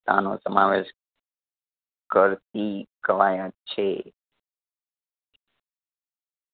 તાનો સમાવેશ કરતી કવાયત છે